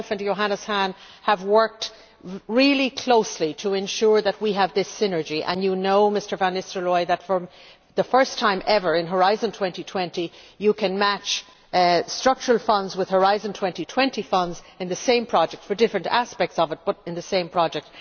Johannes Hahn and I have worked really closely to ensure that we have this synergy and you know, Mr van Nistelrooij, that for the first time ever in Horizon 2020 you can match structural funds with Horizon 2020 funds in the same project, for different aspects of it, but in the same project.